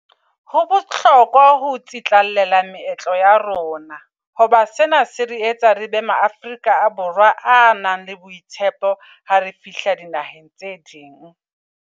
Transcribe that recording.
Ho bohlokwa ho tsetlallela meetlo ya rona. Hoba sena se re etsa re be maAfrika Borwa a nang le boitshepo ha re fihla dinaheng tse ding.